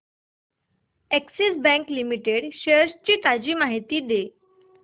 Axis bank limited shares ची ताजी माहिती दे